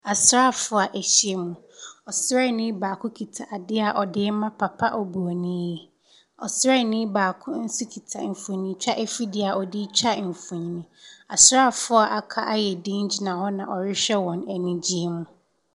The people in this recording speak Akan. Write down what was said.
Asraafoɔ ɛhyiamu ɔsraani baako kuta adeɛ ɔdi ma papa ɔborɔni ɔsraani baako nso kuta mfoni twa ɛfidie a ɔdi twa mfoni asraafoɔ aka ayɛ diin a ɔhwɛ ɔmɔ anim wɔ anigyeɛ mu.